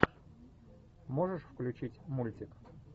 можешь включить мультик